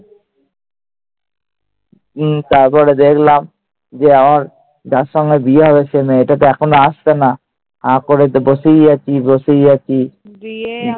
তারপরে দেখলাম আমার যার সঙ্গে বিয়ে হবে, মেয়েটা তো এখনো আসলো না। হাঁ করে বসেই আছি বসেই আছি।